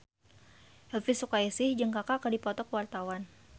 Elvi Sukaesih jeung Kaka keur dipoto ku wartawan